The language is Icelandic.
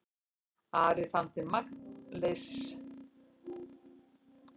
Ari fann til magnleysis.